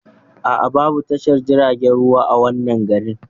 Aa, Babu tashar jirgin ruwa a wannan garin